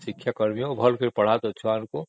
ଭଲକି ପଢ଼ା ତୋ ଛୁଆଗୁଡାଙ୍କୁ